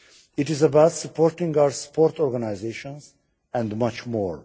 It is about supporting our sports organisations, and much more.